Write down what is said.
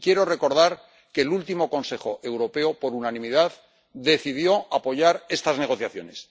Y quiero recordar que el último Consejo Europeo por unanimidad decidió apoyar estas negociaciones.